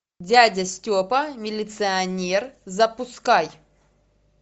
дядя степа милиционер запускай